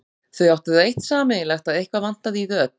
Þau áttu það eitt sameiginlegt að eitthvað vantaði í þau öll.